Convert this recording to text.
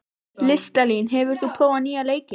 Listalín, hefur þú prófað nýja leikinn?